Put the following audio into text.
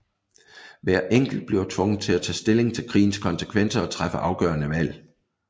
Hver enkelt bliver tvunget til at tage stilling til krigens konsekvenser og træffe afgørende valg